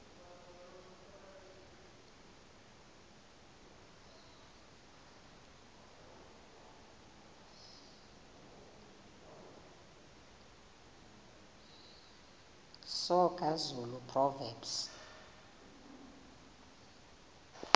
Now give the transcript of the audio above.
soga zulu proverbs